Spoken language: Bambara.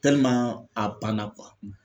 a banna